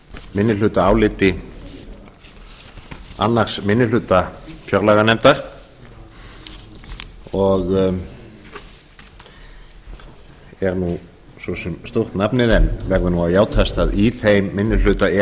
minnihlutaáliti annar minni hluta fjárlaganefndar og er nú svo sem stórt nafnið en verður nú að játast að í þeim minni hluta er